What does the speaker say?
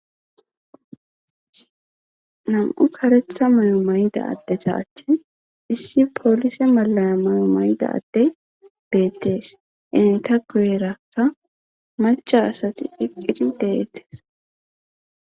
Nam'u karetha mayo mayda dde thaache issi poolise malaya mayo maydade deettees enta guyerakka macha asati hiqqidi deettes.